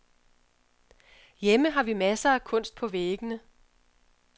Hjemme har vi masser af kunst på væggene.